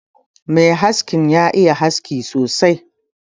Mai haskin nan ya iya haski sosai.